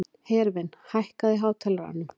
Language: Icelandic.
Hervin, hækkaðu í hátalaranum.